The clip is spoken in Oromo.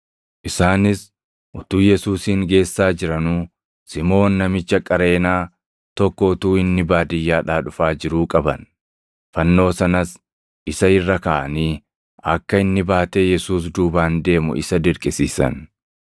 Isaanis utuu Yesuusin geessaa jiranuu Simoon namicha Qareenaa tokko utuu inni baadiyyaadhaa dhufaa jiruu qaban; fannoo sanas isa irra kaaʼanii akka inni baatee Yesuus duubaan deemu isa dirqisiisan.